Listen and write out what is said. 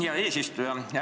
Hea eesistuja!